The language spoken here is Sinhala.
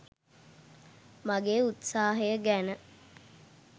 මාගේ උත්සාහය ගැන